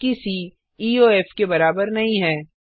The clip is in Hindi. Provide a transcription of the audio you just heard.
जबकि सी ईओएफ के बराबर नहीं है